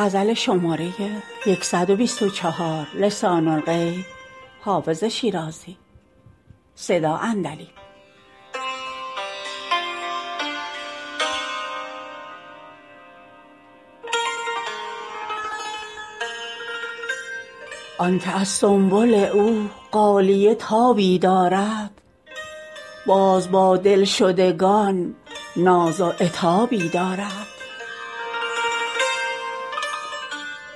آن که از سنبل او غالیه تابی دارد باز با دلشدگان ناز و عتابی دارد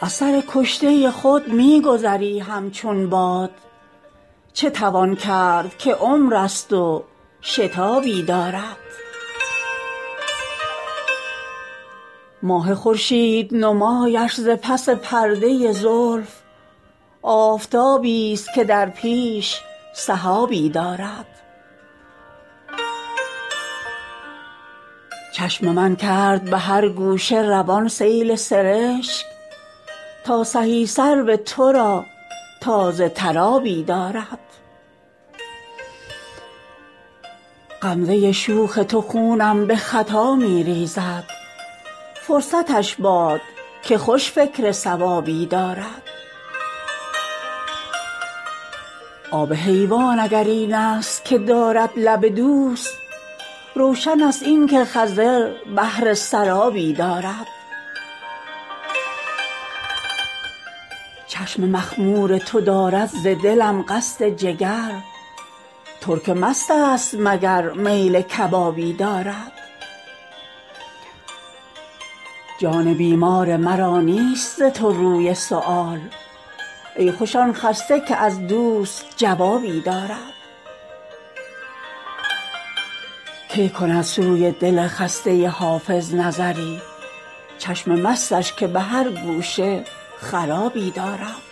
از سر کشته خود می گذری همچون باد چه توان کرد که عمر است و شتابی دارد ماه خورشید نمایش ز پس پرده زلف آفتابیست که در پیش سحابی دارد چشم من کرد به هر گوشه روان سیل سرشک تا سهی سرو تو را تازه تر آبی دارد غمزه شوخ تو خونم به خطا می ریزد فرصتش باد که خوش فکر صوابی دارد آب حیوان اگر این است که دارد لب دوست روشن است این که خضر بهره سرابی دارد چشم مخمور تو دارد ز دلم قصد جگر ترک مست است مگر میل کبابی دارد جان بیمار مرا نیست ز تو روی سؤال ای خوش آن خسته که از دوست جوابی دارد کی کند سوی دل خسته حافظ نظری چشم مستش که به هر گوشه خرابی دارد